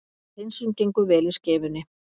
Hreinsun gengur vel í Skeifunni